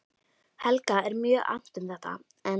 Helga er mjög annt um þetta, en